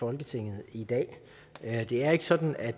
folketinget i dag det er ikke sådan at